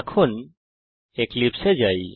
এখন এক্লিপসে এ যাই